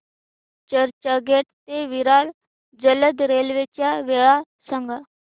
चर्चगेट ते विरार जलद रेल्वे च्या वेळा सांगा